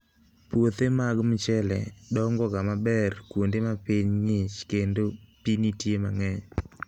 Puothe mag mchele dongoga maber kuonde ma piny ng'ich kendo pi nitie mang'eny.